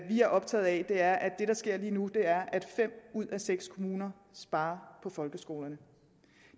vi er optaget af er at det der sker lige nu er at fem ud af seks kommuner sparer på folkeskolerne